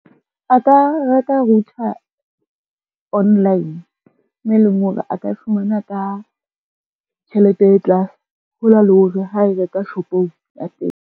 A ka reka router online, moo e leng hore a ka e fumana ka tjhelete e tlase. Ho na le hore ha e reka shopong ya teng.